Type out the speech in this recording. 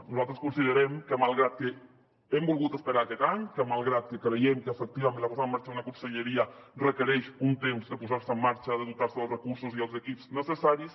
nosaltres considerem que malgrat que hem volgut esperar aquest any que malgrat que creiem que efectivament la posada en marxa d’una conselleria requereix un temps de posar se en marxa de dotar se dels recursos i els equips necessaris